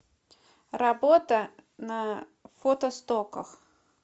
работа на фотостоках